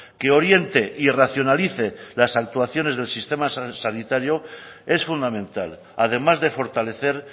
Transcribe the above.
que oriente y racionalice las actuaciones del sistema sanitario es fundamental además de fortalecer